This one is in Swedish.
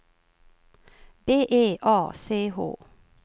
B E A C H